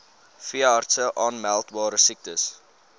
veeartse aanmeldbare siektes